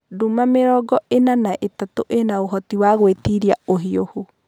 Nduma 43(mĩrongo ĩna na ithatũ) ĩna ũhoti wa gwĩtiria ũhiũhu.